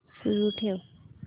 सुरू ठेव